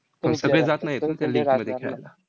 पण सगळे जात नाहीत त्या league मध्ये खेळायला.